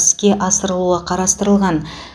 іске асырылуы қарастырылған